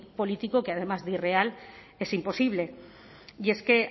político que además de irreal es imposible y es que